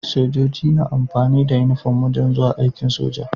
Sojoji na amfani da inufom wajan zuwa aikin soja